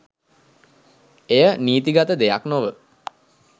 එය නීතිගත දෙයක් නොව